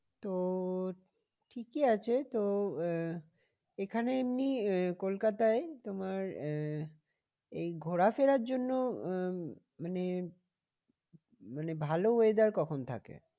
তো ঠিকই আছে তো আহ এখানে এমনি আহ কলকাতায় তোমার আহ এই ঘোরা ফেরার জন্য আহ মানে মানে ভালো weather কখন থাকে?